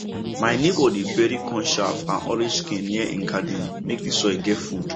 my neighbour dey bury corn chaff and orange skin near him garden make the soil get food